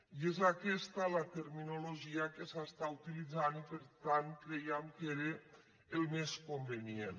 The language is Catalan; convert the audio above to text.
i és aquesta la terminologia que s’està utilitzant i per tant crèiem que era el més convenient